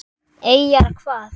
Eyjar hvað?